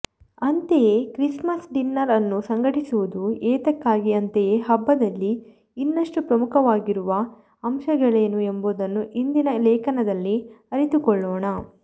ಅಂತೆಯೇ Christmas dinner ಅನ್ನು ಸಂಘಟಿಸುವುದು ಏತಕ್ಕಾಗಿ ಅಂತೆಯೇ ಹಬ್ಬದಲ್ಲಿ ಇನ್ನಷ್ಟು ಪ್ರಮುಖವಾಗಿರುವ ಅಂಶಗಳೇನು ಎಂಬುದನ್ನು ಇಂದಿನ ಲೇಖನದಲ್ಲಿ ಅರಿತುಕೊಳ್ಳೋಣ